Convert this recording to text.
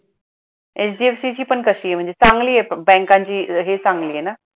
HDFC ची पण कशी आहे, म्हणजे चांगली आहे बँकांची हे चांगली आहे ना?